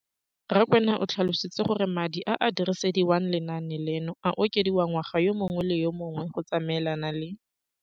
Rakwena o tlhalositse gore madi a a dirisediwang lenaane leno a okediwa ngwaga yo mongwe le yo mongwe go tsamaelana le